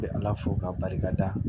Bɛ ala fo k'a barikada